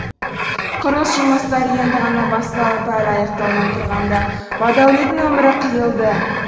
құрылыс жұмыстары енді ғана басталып әлі аяқталмай тұрғанда бадәулеттің өмірі қиылды